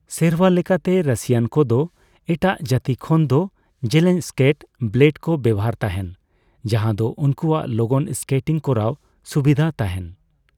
ᱥᱮᱨᱣᱟ ᱞᱮᱠᱟᱛᱮ ᱨᱟᱹᱥᱤᱭᱟᱱ ᱠᱚᱫᱚ ᱮᱴᱟᱜ ᱡᱟᱹᱛᱤ ᱠᱷᱚᱱᱫᱚ ᱡᱮᱞᱮᱧ ᱥᱠᱮᱴ ᱵᱞᱮᱰᱠᱚ ᱵᱮᱣᱦᱟᱨ ᱛᱟᱦᱮᱸᱱ, ᱡᱟᱡᱟᱸᱫᱚ ᱩᱱᱠᱩᱣᱟᱜ ᱞᱚᱜᱚᱱ ᱥᱠᱮᱴᱤᱝ ᱠᱚᱨᱟᱣ ᱥᱩᱵᱤᱫᱷ ᱛᱟᱦᱮᱸᱱ ᱾